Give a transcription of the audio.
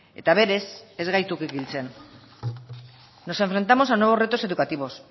eta berez ez gaitu kikiltzen nos enfrentamos a nuevos retos educativos